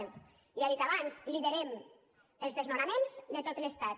ja ho he dit abans liderem els desnonaments de tot l’estat